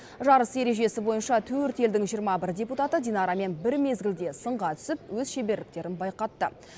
жарыс ережесі бойынша төрт елдің жиырма бір депутаты динарамен бір мезгілде сынға түсіп өз шеберліктерін байқатты